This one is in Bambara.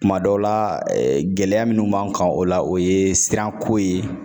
Kuma dɔw la gɛlɛya minnu b'an kan o la o ye sira ko ye